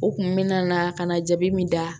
U kun mena na ka na jabi min da